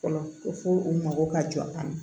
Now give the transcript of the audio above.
Fɔlɔ ko fo u mago ka jɔ an ma